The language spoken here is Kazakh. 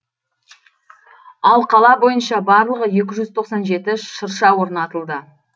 ал қала бойынша барлығы екі жүз тоқсан жеті шырша орнатылды